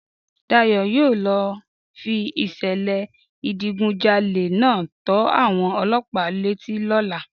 Dayọ̀ yóò lọ fi ìṣẹ̀lẹ̀ ìdigunjalè náà tó àwọn ọlọ́pàá létí lọ́la